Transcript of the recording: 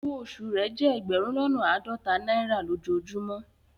Ọwọ́ osù rẹ jẹ ẹgbérùn lọ́nà aádọ́tà naira lojọ́ọjùmọ